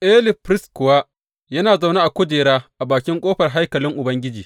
Eli firist kuwa yana zaune a kujera a bakin ƙofar haikalin Ubangiji.